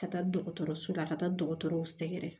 Ka taa dɔgɔtɔrɔso la ka taa dɔgɔtɔrɔw sɛgɛrɛ